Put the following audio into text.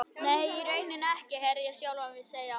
Nei, í rauninni ekki, heyrði ég sjálfan mig segja.